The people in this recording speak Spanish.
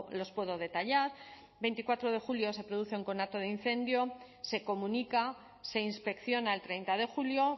los puedo detallar veinticuatro de julio se produce un conato de incendio se comunica se inspecciona el treinta de julio